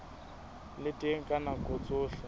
le teng ka nako tsohle